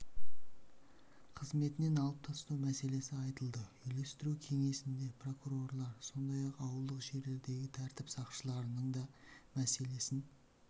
қызметінен алып тастау мәселесі айтылды үйлестіру кеңесінде прокурорлар сондай-ақ ауылдық жерлердегі тәртіп сақшыларының да мәселесін